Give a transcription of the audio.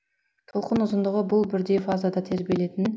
толқын ұзындығы бұл бірдей фазада тербелетін